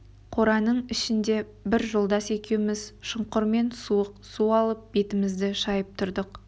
қораның ішінде бір жолдас екеуміз шұңқырмен суық су алып бетімізді шайып тұрдық